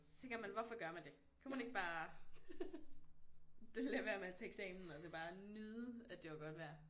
Så tænker man hvorfor gør man det kunne man ikke bare det lade være med at tage eksamen og så bare nyde at det var godt vejr